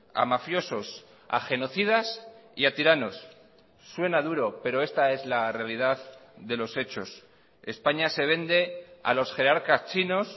a mafiosos a genocidas y a tiranos suena duro pero esta es la realidad de los hechos españa se vende a los jerarcas chinos